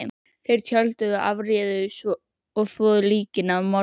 Þeir tjölduðu og afréðu að þvo líkin að morgni.